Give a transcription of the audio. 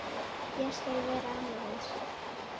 Ég skal vera amma hans.